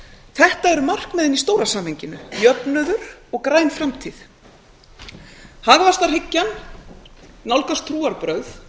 þetta eru markmiðin í stóra samhenginu jöfnuður og græn framtíð hagvaxtarhyggjan nálgast trúarbrögð